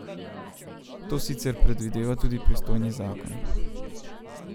To sicer predvideva tudi pristojni zakon.